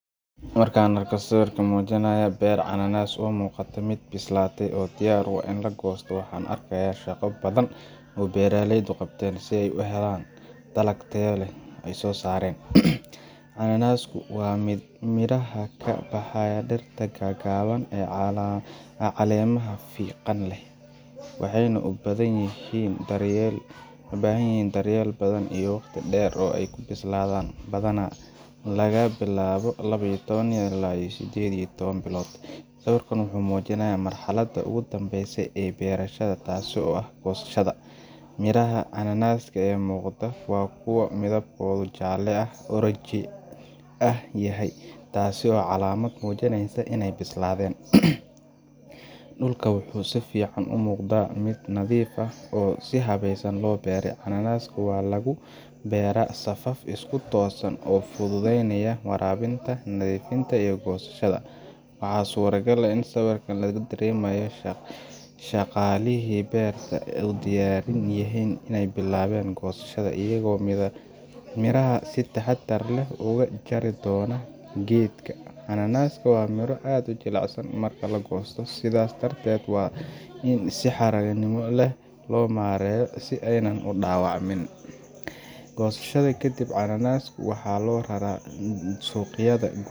Marka aan arko sawir muujinaya beer cananaaska oo u muuqata mid bislaatay oo diyaar u ah in la goosto, waxaan arkaa shaqo badan oo beeraleydu qabteen si ay u helaan dalag tayadiisu sareyso. Cananaasku waa midhaha ka baxa dhirta gaagaaban ee caleemaha fiiqan leh, waxayna u baahan yihiin daryeel badan iyo waqti dheer si ay u bislaadaan – badanaa laga bilaabo laba iyo toban ilaa sideed iyo toban bilood. Sawirkan wuxuu muujinayaa marxaladda ugu dambeysa ee beerashada, taas oo ah goosashada. Midhaha cananaaska ee muuqda waa kuwo midabkooda jaalle ama oranji ah yahay, taasoo ah calaamad muujinaysa in ay bislaadeen. Dhulka wuxuu si fiican u muuqdaa mid nadiif ah, oo si habaysan loo beeray cananaaska waxaa lagu beeraa safaf isku toosan oo fududeynaya waraabinta, nadiifinta iyo goosashada. Waxaa suuragal ah in sawirka laga dareemayo in shaqaalihii beerta ay diyaar u yihiin in ay bilaabaan goosashada, iyagoo midhaha si taxaddar leh uga jari doona geedka . Cananaaska waa miro aad u jilicsan marka la goosto, sidaas darteed waa in si xarrago leh loo maareeyo si aanay u dhaawacmin. Goosashada kadib, cananaaska waxaa loo rara suuqyada.